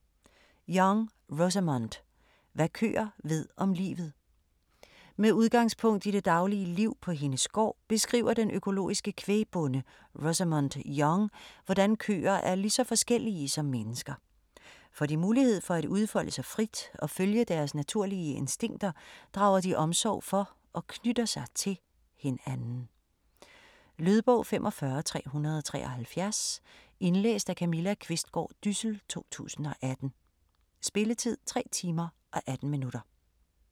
Young, Rosamund: Hvad køer ved om livet Med udgangspunkt i det daglige liv på hendes gård, beskriver den økologiske kvægbonde Rosamund Young hvordan køer er lige så forskellige som mennesker. Får de mulighed for at udfolde sig frit og følge deres naturlige instinkter, drager de omsorg for og knytter sig til hinanden. Lydbog 45373 Indlæst af Camilla Qvistgaard Dyssel, 2018. Spilletid: 3 timer, 18 minutter.